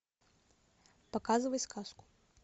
показывай сказку